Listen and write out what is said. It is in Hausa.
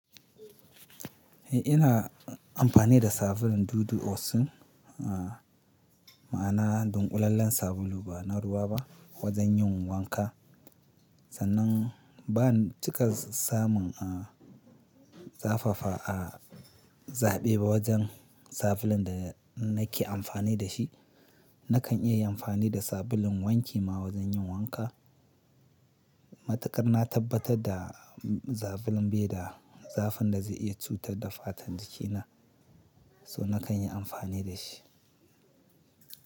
Eh ina amfani da sabulun Dudu Osun. Ah, ma'ana dunƙulallen sabulu ba na ruwa ba wojen yin wanka. Sannan ban cika samun ah zafafa a zaɓe ba wojen sabulun da nake amfani da shi. Nakan iya yin amfani da sabulun wanki ma wojen yin wanka. Matukar na tabbatar da sabulun bai da zafin da zai iya cutar da fatan jikina, so nakan yi amfani da shi.